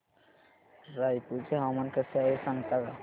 रायपूर चे हवामान कसे आहे सांगता का